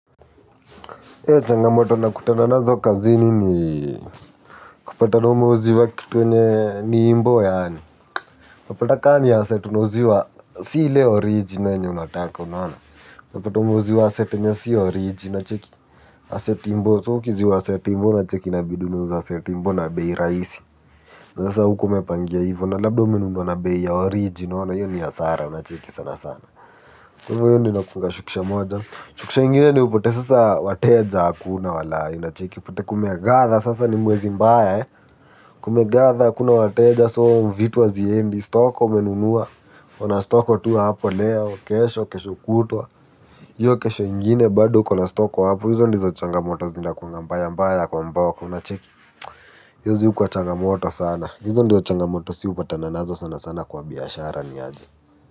Eeh changamoto nakutana nazo kazini ni kupatana umeuziwa kitu yenye ni imbo yaani mapata kaa ni ya asset unauziwa si ili oriji na yenye unataka unaona unapata umeuziwa asset yrnye si oriji una cheki Asset imbo so ukiuziwa asset imbo unacheki inabidi unauzi asset imbo na bei raisi Nasa huko mepangia ivo na labdo mendo na behi ya orijina wana yoni ya sara unacheki sana sana kukashukisha moja. Shukisha ingine ni upate sasa wateja hakuna walai una cheki. Upate kumegatha sasa ni mwezi mbaya he. Kumegatha hskuna wateja soo vitu haziendi. Stock ka umenunuwa. Onastoko tu hapo leo. Kesho, kesho kutwa. Iyo kesho ingine bado uko na stock hapo. Izo ndizo changamoto zinakunganga mbaya mbaya kwa mboka una cheki. Yuzi ukwa changamoto sana. Izo ndizo changamoto si upatana nazo sana sana kwa biashara niaji.